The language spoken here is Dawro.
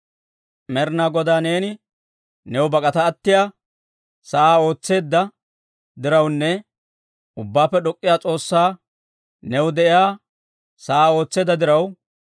Med'inaa Godaa neeni new bak'ata attiyaa sa'aa ootseedda dirawunne, Ubbaappe D'ok'k'iyaa S'oossaa new, de'iyaa sa'aa ootseedda diraw,